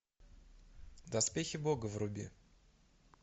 доспехи бога вруби